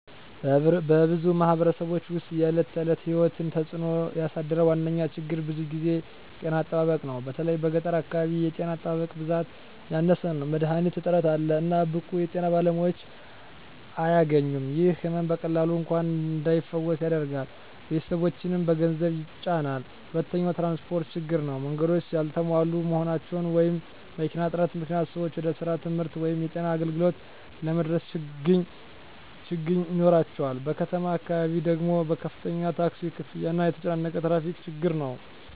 በብዙ ማኅበረሰቦች ውስጥ የዕለት ተዕለት ሕይወትን እየተጽእኖ ያሳደረ ዋነኛ ችግር ብዙ ጊዜ ጤና አጠባበቅ ነው። በተለይ በገጠር አካባቢ የጤና ጣቢያዎች ብዛት ያነሰ ነው፣ መድሀኒት እጥረት አለ፣ እና ብቁ የጤና ባለሙያዎች አያገኙም። ይህ ሕመም በቀላሉ እንኳን እንዳይፈወስ ያደርጋል፣ ቤተሰቦችንም በገንዘብ ይጫናል። ሁለተኛው ትራንስፖርት ችግር ነው። መንገዶች ያልተሟሉ መሆናቸው ወይም መኪና እጥረት ምክንያት ሰዎች ወደ ስራ፣ ትምህርት ወይም የጤና አገልግሎት ለመድረስ ችግኝ ይኖራቸዋል። በከተማ አካባቢ ደግሞ ከፍተኛ ታክሲ ክፍያ እና የተጨናነቀ ትራፊክ ችግር ነው።